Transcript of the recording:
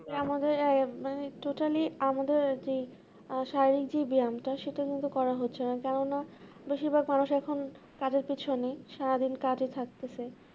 আমাদের আহ মানে totally আমাদের আহ শারীরিক যে বয়ামটা সেটা কিন্তু করা হচ্ছে না কেননা বেশিরভাগ মানুষ এখন কাজের পিছনে সারাদিন কাজে থাকতে চায়